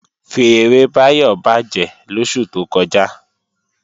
Fèèrè Báyọ̀ bàjẹ́ lóṣù tó kọjá